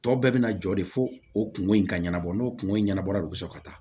Tɔ bɛɛ bɛna jɔ de fo o kungo in ka ɲɛnabɔ n'o kungo in ɲɛnabɔla de don so ka taa